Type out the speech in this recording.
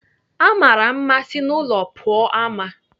Amara mma si n'ụlọ pụọ ama.